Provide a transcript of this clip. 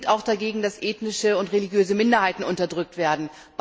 Und wir sind auch dagegen, dass ethnische und religiöse Minderheiten unterdrückt werden.